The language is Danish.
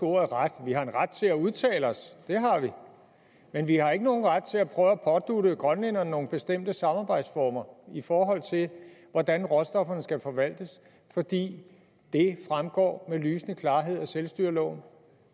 ordet ret vi har en ret til at udtale os det har vi men vi har ikke nogen ret til at prøve at pådutte grønlænderne nogle bestemte samarbejdsformer i forhold til hvordan råstofferne skal forvaltes for det fremgår med lysende klarhed af selvstyreloven